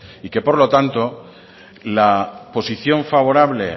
y que por lo tanto la posición favorable